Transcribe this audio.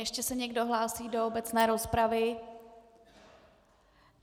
Ještě se někdo hlásí do obecné rozpravy?